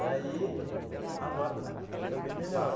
Daí, agora está está bem melhor.